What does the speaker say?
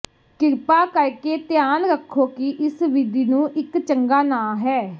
ਕਿਰਪਾ ਕਰਕੇ ਧਿਆਨ ਰੱਖੋ ਕਿ ਇਸ ਵਿਧੀ ਨੂੰ ਇੱਕ ਚੰਗਾ ਨਾ ਹੈ